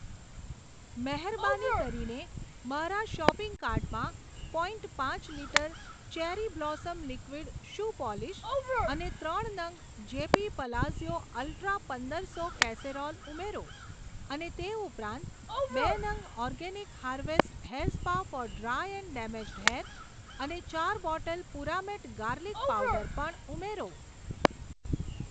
મહેરબાની કરીને મારા શોપિંગ કાર્ટમાં પોઇન્ટ પાંચ litre cherry blossom liquid shoe polish અને ત્રણ નંગ જેપી પલાઝીઓ અલ્ટ્રા પંદરસો કેસેરોલ ઉમેરો, અને તે ઉપરાંત બે નંગ organic harvest hair spa for dry and damaged hair અને ચાર બોટલ પુરામેટ ગાર્લિક પાવડર પણ ઉમેરો.